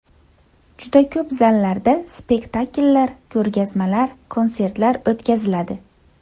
Juda ko‘p zallarda spektakllar, ko‘rgazmalar, konsertlar o‘tkaziladi.